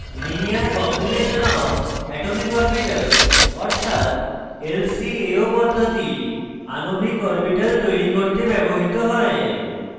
linear combination of atomic orbitals অর্থাৎ lcao পদ্ধতি আণবিক অরবিটাল তৈরি করতে ব্যবহৃত হয়